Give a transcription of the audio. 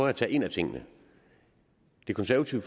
at tage en af tingene det konservative